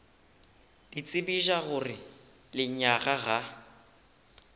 le tsebiša gore lenyaga ga